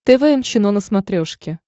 тэ вэ эм чено на смотрешке